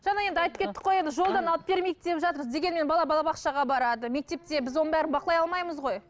жаңа енді айтып кеттік қой енді жолдан алып бермейік деп жатырмыз дегенмен бала балабақшаға барады мектепте біз оның бәрін бақылай алмаймыз ғой